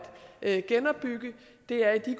at genopbygge er i